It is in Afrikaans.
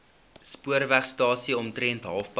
spoorwegstasie omtrent halfpad